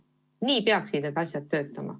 Nii peaksid need asjad töötama.